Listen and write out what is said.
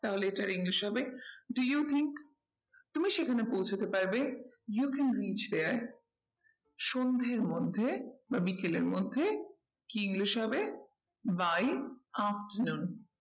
তাহলে এটার english হবে do you think তুমি সেখানে পৌঁছতে পারবে you can reach here সন্ধের মধ্যে বা বিকালের মধ্যে কি english হবে by afternoon